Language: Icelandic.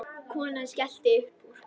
Konan skellti upp úr.